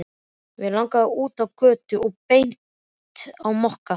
Mig langaði út á götu og beint á Mokka.